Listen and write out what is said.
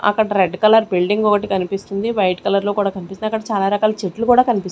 అక్కడ red colour building ఒకటి కనిపిస్తుంది వైట్ కలర్ లో కూడా కనిపిస్తుంది అక్కడ చాలా రకాల చెట్లు కూడా కనిపిస్తుం--